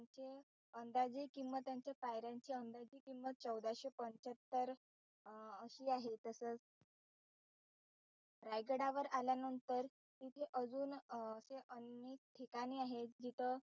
आनंदाचे किंमत त्यांच्या पायऱ्यांची अंदाजे किंमत चौदाशे पंच्यात्तर अशी आहे तसच रायगडावर आल्या नंतर इथे अजून अशे अनेक ठिकाणे आहेत जिथं,